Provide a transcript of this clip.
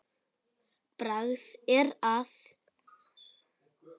Bragð er að.